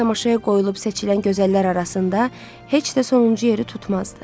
Özü də tamaşaya qoyulub seçilən gözəllər arasında heç də sonuncu yeri tutmazdı.